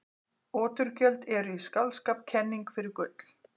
Oturgjöld eru í skáldskap kenning fyrir gull.